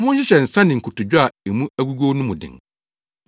Monhyehyɛ nsa ne nkotodwe a emu agugow no mu den.